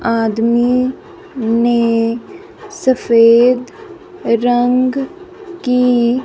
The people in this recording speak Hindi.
आदमी ने सफेद रंग की--